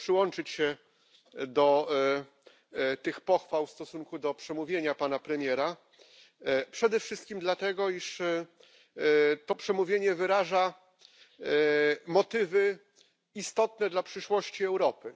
Mogę przyłączyć się do tych pochwał w stosunku do przemówienia pana premiera, przede wszystkim dlatego iż to przemówienie wyraża motywy istotne dla przyszłości Europy.